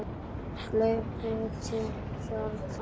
Gleypti sorg þína.